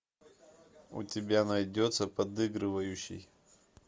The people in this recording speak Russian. у тебя найдется подыгрывающий